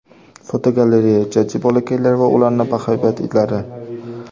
Fotogalereya: Jajji bolakaylar va ularning bahaybat itlari.